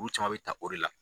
Olu caman bɛ ta o de la.